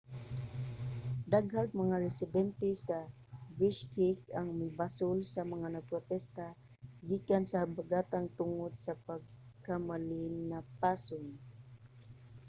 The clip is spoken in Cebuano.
daghang mga residente sa bishkek ang mibasol sa mga nagprotesta gikan sa habagatan tungod sa pagkamalinapason